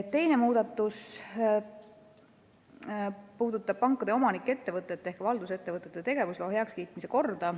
Teine muudatus puudutab pankade omanikettevõtete ehk valdusettevõtete tegevusloa heakskiitmise korda.